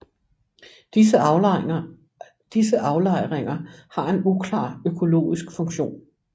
Disse aflejringer har en uklar økologisk funktion